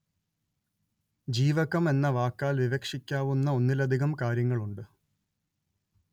ജീവകം എന്ന വാക്കാല്‍ വിവക്ഷിക്കാവുന്ന ഒന്നിലധികം കാര്യങ്ങളുണ്ട്